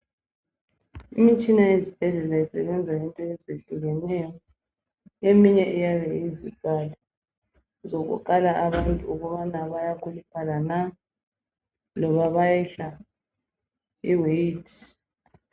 Imitshina yezibhedlela isebenza ngento ezehlukeneyo. Eminye iyabe iyizikali zokukala abantwana ukuba bayakhuluphala na noma bayehla iweight.